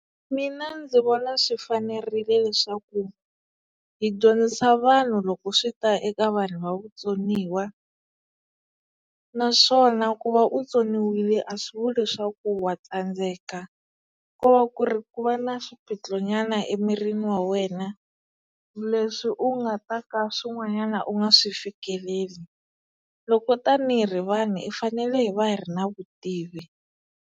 Mina ndzi vona swi fanerile leswaku hi dyondzisa vanhu loko swi ta eka vanhu va vutsoniwa naswona ku va u tsoniwile a swi vuli leswaku wa tsandzeka kova ku ri ku va na swiphiqo nyana emirini wa wena leswi u nga ta ka swin'wanyana u nga swi fikeleli loko tanihi ri vanhu hi fanele hi va hi ri na vutivi.